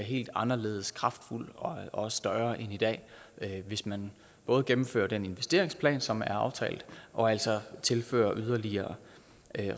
helt anderledes kraftfuld og større end i dag hvis man både gennemfører den investeringsplan som er aftalt og altså tilfører yderligere